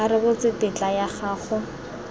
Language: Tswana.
a rebotse tetla ya go